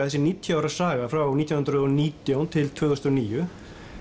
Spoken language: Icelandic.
þessi níutíu ára saga frá nítján hundruð og nítján til tvö þúsund og níu